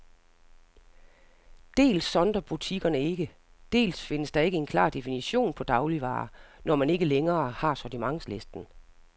Dels sondrer butikkerne ikke, dels findes der ikke en klar definition på dagligvarer, når man ikke længere har sortimentslisten.